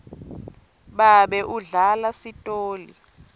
babe udlala sitoli